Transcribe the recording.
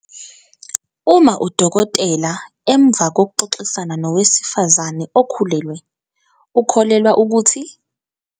Uma udokotela, emva kokuxoxisana nowesifazane okhulelwe, ukholelwa ukuthi.